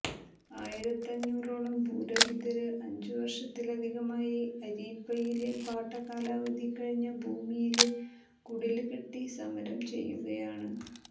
ആയിരത്തഞ്ഞൂറോളം ഭൂരഹിതര് അഞ്ചു വര്ഷത്തിലധികമായി അരീപ്പയിലെ പാട്ട കാലാവധി കഴിഞ്ഞ ഭൂമിയില് കുടില്കെട്ടി സമരം ചെയ്യുകയാണ്